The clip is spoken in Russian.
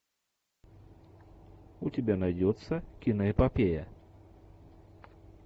у тебя найдется киноэпопея